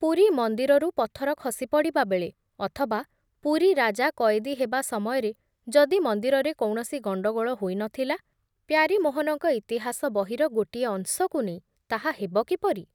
ପୁରୀ ମନ୍ଦିରରୁ ପଥର ଖସିପଡ଼ିବା ବେଳେ ଅଥବା ପୁରୀ ରାଜା କଏଦୀ ହେବା ସମୟରେ ଯଦି ମନ୍ଦିରରେ କୌଣସି ଗଣ୍ଡଗୋଳ ହୋଇ ନ ଥିଲା, ପ୍ୟାରୀମୋହନଙ୍କ ଇତିହାସ ବହିର ଗୋଟିଏ ଅଂଶକୁ ନେଇ ତାହା ହେବ କିପରି